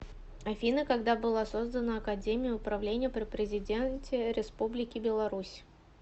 афина когда была создана академия управления при президенте республики беларусь